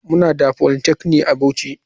Muna da polytechnic a bauchi.